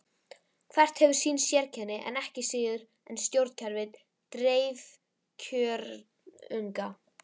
Hvert hefur sín sérkenni ekki síður en stjórnkerfi dreifkjörnunga.